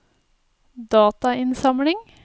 datainnsamling